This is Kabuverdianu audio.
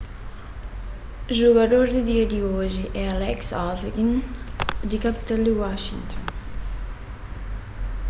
jugador di dia di oji é alex ovechkin di kapital di washington